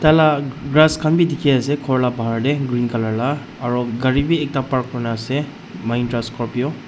la grass khan bi dikhiase khor la bahar tae green colour la aro gari bi ekta park kurina ase mahindra Scorpio .